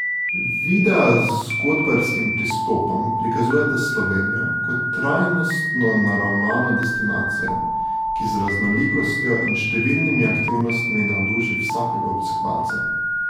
Videa z zgodbarskim pristopom prikazujeta Slovenijo kot trajnostno naravnano destinacijo, ki z raznolikostjo in številnimi aktivnostmi navduši vsakega obiskovalca.